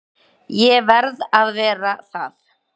Ég verð að vera það.